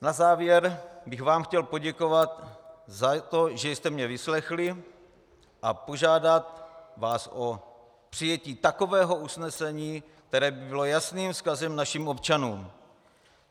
Na závěr bych vám chtěl poděkovat za to, že jste mě vyslechli, a požádat vás o přijetí takového usnesení, které by bylo jasným vzkazem našim občanům.